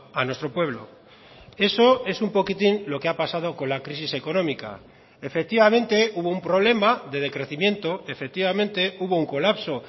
a nuestro pueblo eso es un poquitín lo que ha pasado con la crisis económica efectivamente hubo un problema de decrecimiento efectivamente hubo un colapso